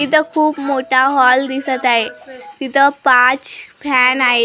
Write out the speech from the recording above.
इथं खूप मोठा हॉल दिसत आहे तिथं पाच फॅन आहेत .